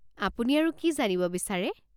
আপুনি আৰু কি জানিব বিচাৰে?